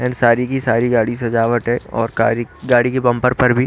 and सारी की सारी गाड़ी सजावट है और कारी गाड़ी के बंपर पर भी--